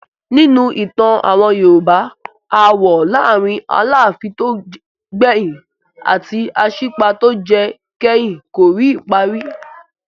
Nínú ìtàn àwọn Yorùbá, aáwọ̀ láàárin Aláàfin tó gbẹ̀yìn àti Aṣípa tó jẹ kẹ́yìn kò rí ìparí.